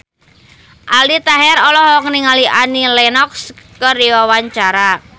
Aldi Taher olohok ningali Annie Lenox keur diwawancara